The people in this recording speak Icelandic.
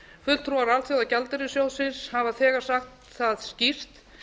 fulltrúar alþjóðagjaldeyrissjóðsins hafa þegar sagt það skýrt